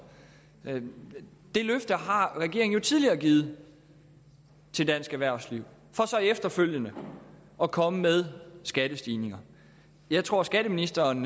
det løfte har regeringen jo tidligere givet til dansk erhvervsliv for så efterfølgende at komme med skattestigninger jeg tror at skatteministeren